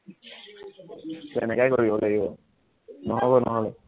তেনেকুৱাই কৰিব লাগিব, নহব নহলে